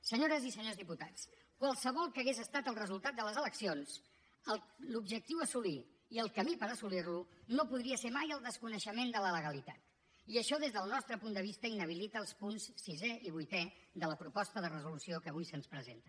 senyores i senyors diputats qualsevol que hagués estat el resultat de les eleccions l’objectiu a assolir i el camí per assolir lo no podria ser mai el desconeixement de la legalitat i això des del nostre punt de vista inhabilita els punts sisè i vuitè de la proposta de resolució que avui se’ns presenta